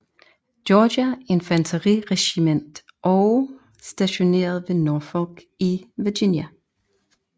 Georgia infanteriregiment og stationeret ved Norfolk i Virginia